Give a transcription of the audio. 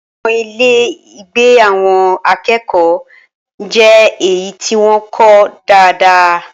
Awọn ile-igbe awon akeeko naa je eyi ti won ko daadaa